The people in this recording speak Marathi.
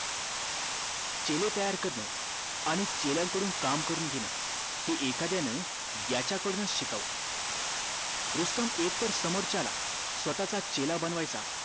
चेले तयार करण आणि चेल्या कडून काम करून घेणं हे एखाद्यानं याच्या कडून च शिकावं रुस्तम एकतर समोर च्याला स्वतःचा चेला बनवायचा